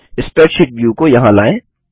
spreadsheet view को यहाँ लायें